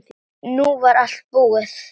Nú var allt búið.